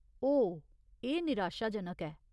ओह्, एह् निराशाजनक ऐ।